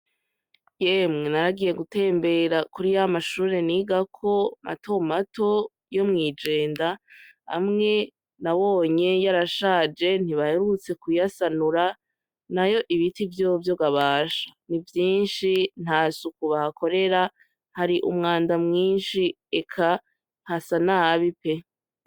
Yemwe naragiye gutembera kuri yamashure nigako matomato yo mwijenda, hamwe nabonye yoarashaje ntibayarutse kuyasanura na yo ibiti vyovyogabasha ni vyinshi nta sukubah akorera hari umwanda mwinshi, eka hasa nabi pe.